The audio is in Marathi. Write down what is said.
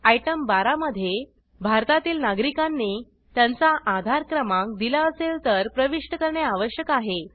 आयटम 12 - मध्ये भारतातील नागरिकांनी त्यांचा आधार क्रमांक दिला असेल तर प्रविष्ट करणे आवश्यक आहे